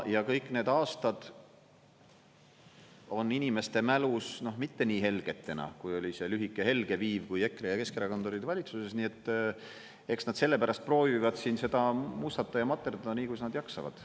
Ja kõik need aastad on inimeste mälus mitte nii helgetena, kui oli see lühike helge viiv, kui EKRE ja Keskerakond olid valitsuses, nii et eks nad sellepärast proovivad siin seda mustata ja materdada nii, kuidas nad jaksavad.